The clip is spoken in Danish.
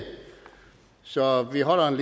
så vi holder en